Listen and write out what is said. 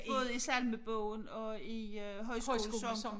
Både i salmebogen og i øh højskolesang